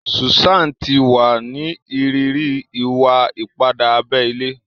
Susan ti wa ni iriri iwa-ipa abé ilé.